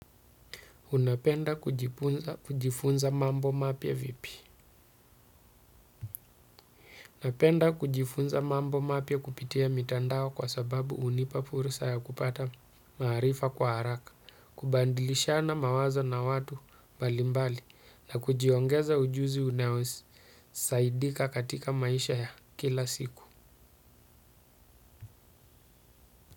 Unapenda kujifunza mambo mapya vipi. Napenda kujifunza mambo mapya kupitia mitandao kwa sababu unipa fursa ya kupata maarifa kwa haraka. Kubadilishana mawazo na watu mbalimbali na kujiongeza ujuzi unaosaidika katika maisha ya kila siku.